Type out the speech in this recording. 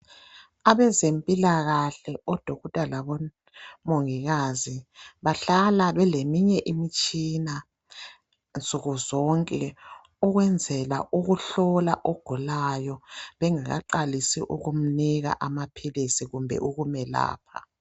Abezempilakahle oDokotela labomongikazi bahlala beleminye imitshina nsuku zonke ukwenzela ukuhlola ogulayo bengakaqalisi ukumnika amaphilisi kumbe ukumelapha.